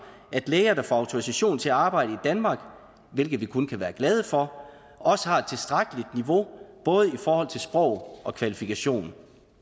at læger der får autorisation til at arbejde i danmark hvilket vi kun kan være glade for også har et tilstrækkeligt niveau både i forhold til sprog og kvalifikationer